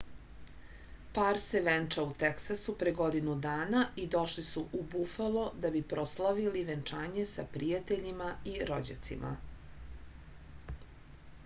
par se venčao u teksasu pre godinu dana i došli su u bufalo da bi proslavili venčanje sa prijateljima i rođacima